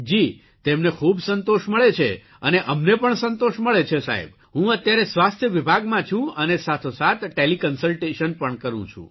જી તેમને ખૂબ સંતોષ મળે છે અને અમને પણ સંતોષ મળે છે સાહેબ હું અત્યારે સ્વાસ્થ્ય વિભાગમાં છું અને સાથોસાથ ટેલીકન્સલટેશન પણ કરૂં છું